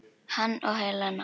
Hann og Helena.